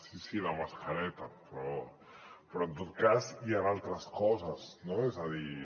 sí sí la mascareta però en tot cas hi han altres coses no és a dir